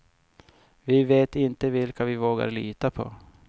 Vi vet inte vilka vi vågar lita på.